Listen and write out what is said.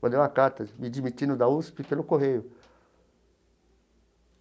mandei uma carta me demitindo da USP pelo correio.